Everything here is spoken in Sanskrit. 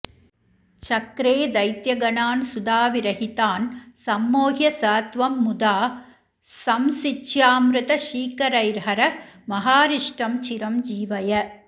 चक्रे दैत्यगणान् सुधाविरहितान् संमोह्य स त्वं मुदा संसिच्यामृतशीकरैर्हर महारिष्टं चिरं जीवय